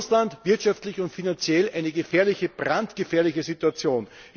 Und Russland wirtschaftlich und finanziell eine gefährliche, brandgefährliche Situation.